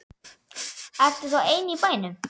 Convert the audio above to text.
Ertu þá ein í bænum?